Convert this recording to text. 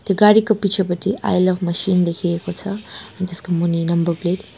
त्यो गाडीको पिछेपटि आइ लभ मसिन लेखिएको छ अनि त्यसको मुनि नम्बर प्लेट ।